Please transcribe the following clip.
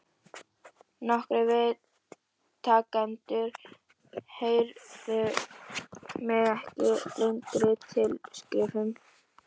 Nokkrir viðtakendur heiðruðu mig með lengri tilskrifum.